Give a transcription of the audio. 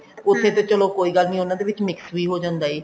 ਉੱਥੇ ਤਾਂ ਚਲੋ ਕੋਈ ਗੱਲ ਨੀ ਉਹਨਾਂ ਦੇ ਵਿੱਚ mix ਵੀ ਹੋ ਜਾਂਦਾ ਐ